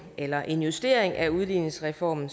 eller en justering af udligningsreformen